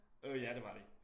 Øh ja det var de